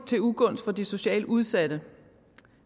til ugunst for de socialt udsatte